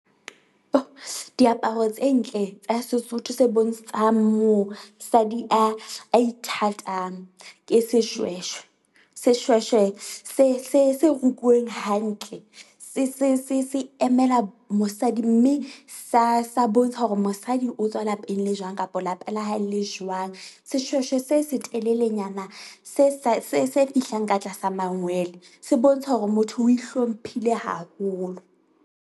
Diaparo tse ntle tsa Sesotho se bontshang mosadi a a ithatang ke seshweshwe. Seshweshwe se se se rukuweng hantle se se se emela mosadi, mme sa sa bontsha hore mosadi o tswa lapeng le jwang kapa lapa la hae le jwang. Seshweshwe se se telelenyana se sa se se fihlang ka tlasa mangwele se bontsha hore motho o ihlomphile haholo.